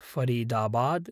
Faridabad